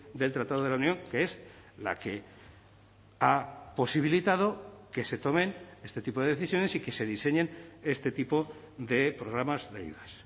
del tratado de la unión que es la que ha posibilitado que se tomen este tipo de decisiones y que se diseñen este tipo de programas de ayudas